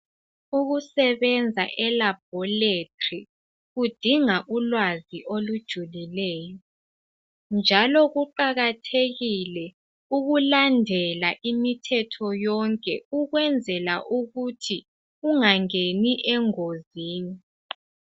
Ukusebenza elabhorethori kudinga ulwazi olujulileyo njalo kuqakathekile ukulandela imithetho yonke ukwenzela ukuthi ungangeni engozini.